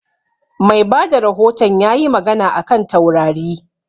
Mai bada rahoton ya yi magana a kan taurari